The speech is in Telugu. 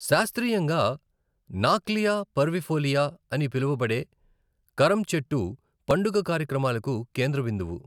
శాస్త్రీయంగా నాక్లియా పర్విఫోలియా అని పిలువబడే కరమ్ చెట్టు పండుగ కార్యక్రమాలకు కేంద్రబిందువు.